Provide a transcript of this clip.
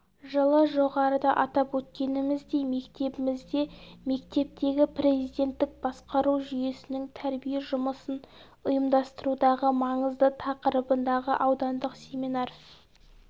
жылы жоғарыда атап өткеніміздей мектебімізде мектептегі президенттік басқару жүйесінің тәрбие жұмысын ұйымдастырудағы маңызы тақырыбындағы аудандық семинар